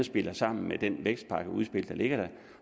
spiller sammen med det vækstpakkeudspil der ligger